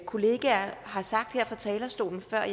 kollegaer har sagt her fra talerstolen før